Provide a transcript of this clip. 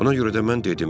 Buna görə də mən dedim: